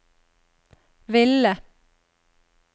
ville